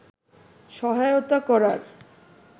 সহায়তা করার